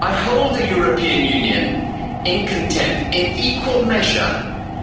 I hold the European Union in contempt in equal measure